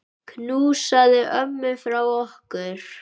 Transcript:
Knúsaðu ömmu frá okkur.